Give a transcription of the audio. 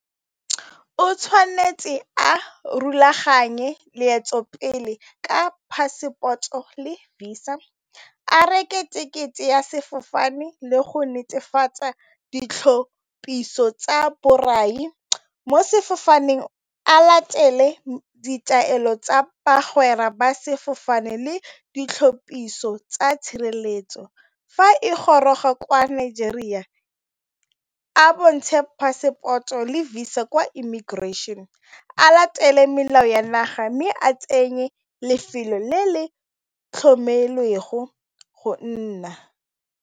O tshwanetse a rulaganye leeto pele ka passport-o le Visa a reke tekete ya sefofane le go netefatsa ditlhopiso tsa borai mo sefofaneng a latele ditaelo tsa bagwera ba sefofane le ditlhopiso tsa tshireletso. Fa e goroga kwa Nigeria a bontshe passport-o le Visa kwa immigration, a latele melao ya naga mme a tsenye lefelo le le tlhokomelo le go go nna.